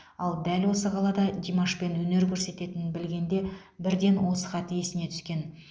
ал дәл осы қалада димашпен өнер көрсететінін білгенде бірден осы хат есіне түскен